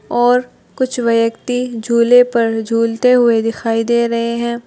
और कुछ व्यक्ति झूले पर झूलते हुए दिखाई दे रहे हैं।